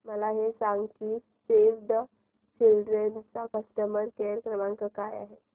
मला हे सांग की सेव्ह द चिल्ड्रेन चा कस्टमर केअर क्रमांक काय आहे